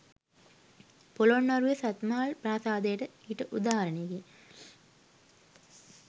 පොළොන්නරුවේ සත්මහල් ප්‍රාසාදයද ඊට උදාහරණයකි.